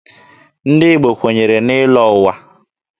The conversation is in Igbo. Ndị Igbo kwenyere n'ịlọ ụwa.